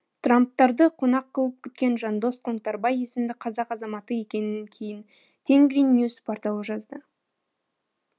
трамптарды қонақ қылып күткен жандос қоңтарбай есімді қазақ азаматы екенін кейін тенгриньюс порталы жазды